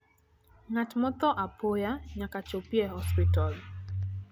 ngat motho apoya nyaka chopie e osiptal